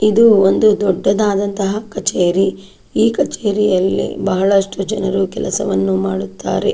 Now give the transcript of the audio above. ಇದು ಒಂದು ದೊಡ್ಡದಾದಂತಹ ಒಂದು ಕಚೇರಿ ಈ ಕಚೇರಿಯಲ್ಲಿ ಬಹಳಷ್ಟು ಜನರು ಕೆಲಸವನ್ನು ಮಾಡುತ್ತಾರೆ.